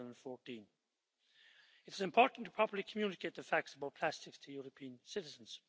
2014. It is important to properly communicate the facts about plastics to European citizens.